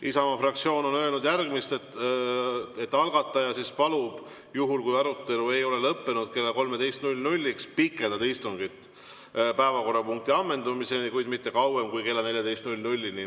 Isamaa fraktsioon on öelnud järgmist: algataja palub, juhul kui arutelu ei ole lõppenud kella 13‑ks, pikendada istungit päevakorrapunkti ammendumiseni, kuid mitte kauem kui kella 14-ni.